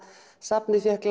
safnið fékk